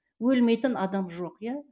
өлмейтін адам жоқ иә